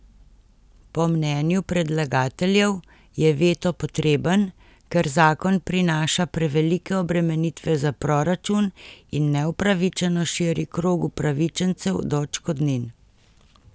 Po mnenju predlagateljev je veto potreben, ker zakon prinaša prevelike obremenitve za proračun in neupravičeno širi krog upravičencev do odškodnin.